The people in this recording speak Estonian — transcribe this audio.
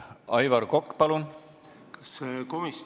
Aivar Kokk, palun!